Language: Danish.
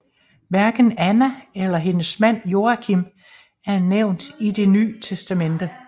Hverken Anna eller hendes mand Joachim er nævnt i Det nye testamente